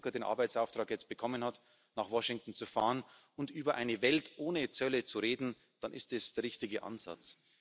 Wenn Jean Claude Juncker jetzt den Arbeitsauftrag bekommen hat, nach Washington zu fahren und über eine Welt ohne Zölle zu reden, dann ist das der richtige Ansatz.